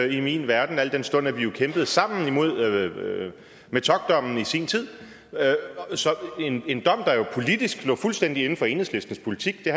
i min verden al den stund at vi jo kæmpede sammen imod metockdommen i sin tid en dom der er jo politisk lå fuldstændig inden for enhedslistens politik det